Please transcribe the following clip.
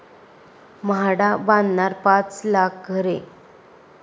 म्हाडा बांधणार पाच लाख घरे'